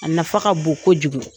A nafa ka bon kojugu